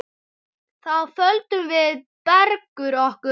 Þá földum við Bergur okkur.